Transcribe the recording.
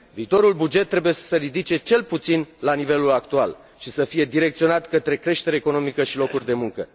Viitorul buget trebuie să se ridice cel puțin la nivelul actual și să fie direcționat către creștere economică și locuri de muncă.